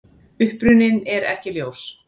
Uppruninn er ekki ljós.